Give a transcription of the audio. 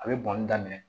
A bɛ bɔnni daminɛ